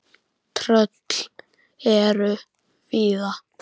Tröll eru víða.